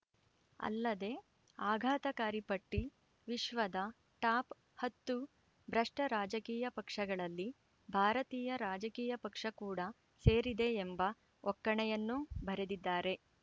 ಅಲ್ಲದೆ ಆಘಾತಕಾರಿ ಪಟ್ಟಿ ವಿಶ್ವದ ಟಾಪ್‌ ಹತ್ತು ಭ್ರಷ್ಟರಾಜಕೀಯ ಪಕ್ಷಗಳಲ್ಲಿ ಭಾರತೀಯ ರಾಜಕೀಯ ಪಕ್ಷ ಕೂಡ ಸೇರಿದೆ ಎಂಬ ಒಕ್ಕಣೆಯನ್ನೂ ಬರೆದಿದ್ದಾರೆ